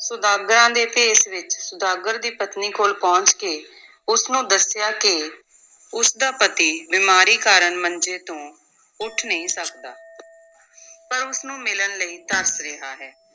ਸੁਦਾਗਰਾਂ ਦੇ ਭੇਸ ਵਿੱਚ ਸੁਦਾਗਰ ਦੀ ਪਤਨੀ ਕੋਲ ਪਹੁੰਚ ਕੇ ਉਸ ਨੂੰ ਦੱਸਿਆ ਕਿ ਉਸ ਦਾ ਪਤੀ ਬਿਮਾਰੀ ਕਾਰਨ ਮੰਜੇ ਤੋਂ ਉੱਠ ਨਹੀਂ ਸਕਦਾ ਪਰ ਉਸ ਨੂੰ ਮਿਲਣ ਲਈ ਤਰਸ ਰਿਹਾ ਹੈ।